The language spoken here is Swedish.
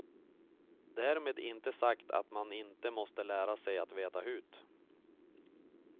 Därmed inte sagt att man inte måste lära sig att veta hut.